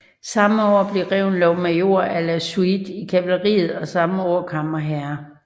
Samme år blev Reventlow major à la suite i kavaleriet og samme år kammerherre